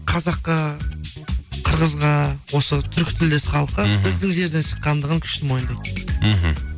қазаққа қырғызға осы түркітілдес халыққа біздің жерден шыққандығын күшті мойындайды мхм